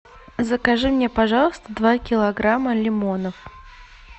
закажи мне пожалуйста два килограмма лимонов